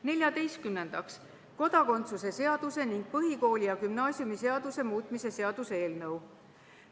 Neljateistkümnendaks, kodakondsuse seaduse ning põhikooli- ja gümnaasiumiseaduse muutmise seaduse eelnõu.